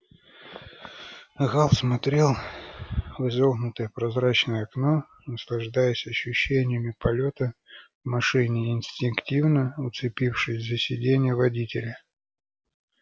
гаал смотрел в изогнутое прозрачное окно наслаждаясь ощущениями полёта в машине и инстинктивно уцепившись за сидение водителя